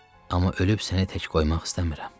Amma ölüb səni tək qoymaq istəmirəm.